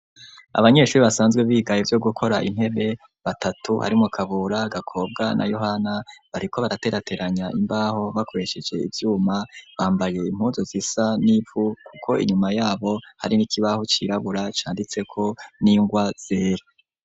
Abanyeshure basanzwe biga ivyo gukora intebe batatu harimwo kabura, gakobwa na yohana bariko baraterateranya imbaho bakoresheje ivyuma, bambaye impuzo zisa n'ivu kuko inyuma yabo hari n'ikibahu cirabura canditseko n'ingwa yera.